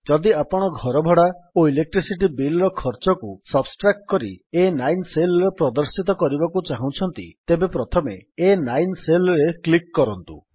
ଯଦି ଆପଣ ଘର ଭଡ଼ା ଓ ଇଲେକ୍ଟ୍ରିସିଟୀ ବିଲ୍ର ଖର୍ଚ୍ଚକୁ ସବଷ୍ଟ୍ରାକ୍ଟ କରି ଆ9 Cellରେ ପ୍ରଦର୍ଶିତ କରିବାକୁ ଚହୁଁଛନ୍ତି ତେବେ ପ୍ରଥମେ ଆ9 Cellରେ କ୍ଲିକ୍ କରନ୍ତୁ